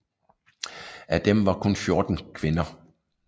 Af dem var kun 14 kvinder